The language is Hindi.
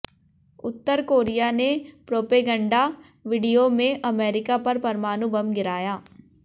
उत्तर कोरिया ने प्रोपेगंडा वीडियो में अमेरिका पर परमाणु बम गिराया